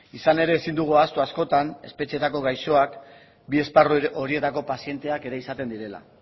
izan ere ezin dugu ahaztu askotan espetxeetako gaixoak bi esparru horietako pazienteak ere izaten direla